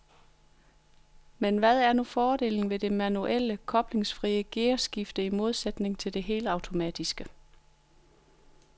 Men hvad er nu fordelen ved det manuelle, koblingsfrie gearskifte i modsætning til det helautomatiske?